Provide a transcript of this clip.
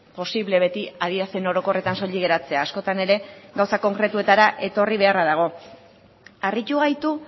posible beti adierazpen orokorretan soilik geratzea askotan ere gauza konkretuetara beharra dago harritu gaitu